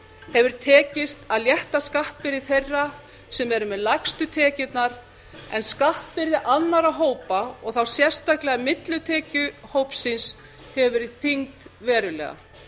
hefur tekist að létta skattbyrði þeirra sem eru með lægstu tekjurnar en skattbyrði annarra hópa og þá sérstaklega millitekjuhópsins hefur verið þyngd verulega